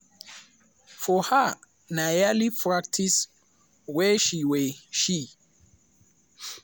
for her na yearly practice wey she wey she